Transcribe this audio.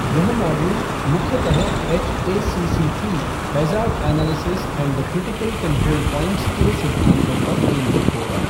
यह मॉड्यूल मुख्यतः HACCP, hazard analysis and the critical control points के सिद्धांतों पर केंद्रित होग